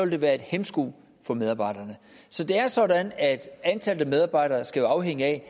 det være en hæmsko for medarbejderne så det er sådan at antallet af medarbejdere jo skal afhænge af